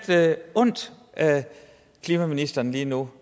ondt af klimaministeren lige nu